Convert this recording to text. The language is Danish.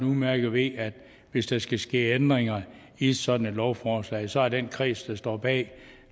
udmærket ved at hvis der skal ske ændringer i sådan et lovforslag så er det den kreds der står bag